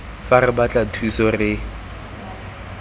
fa re batla thuso re